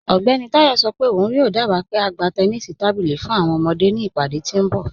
Ọgbẹni Tayọ sọ pe ọun yoo dába pe a gbà tẹ̀nìṣí tábílí fún awọn ọmọde ni ìpadé tí nbọ̀.